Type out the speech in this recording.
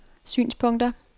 synspunkter